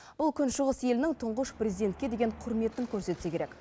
бұл күн шығыс елінің тұңғыш президентке деген құрметін көрсетсе керек